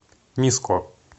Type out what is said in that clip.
миско